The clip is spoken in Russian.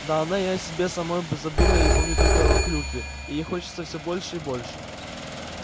да она и о себе самой бы забыла и помнит только о клюкве и ей хочется всё больше и больше